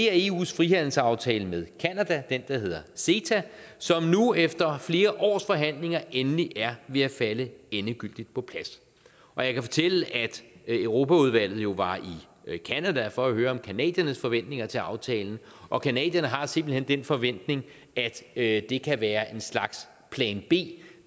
er eus frihandelsaftale med canada den der hedder ceta som nu efter flere års forhandlinger endelig er ved at falde endegyldigt på plads jeg kan fortælle at europaudvalget jo var i canada for at høre om canadiernes forventninger til aftalen og canadierne har simpelt hen den forventning at at det kan være en slags plan b